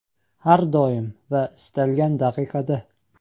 Har doim va istalgan daqiqada.